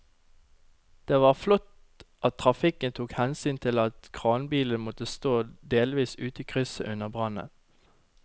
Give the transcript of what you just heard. Det var flott at trafikken tok hensyn til at kranbilen måtte stå delvis ute i krysset under brannen.